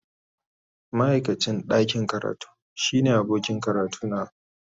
Ma'aikacin ɗakin karatu shine abokin karatuna.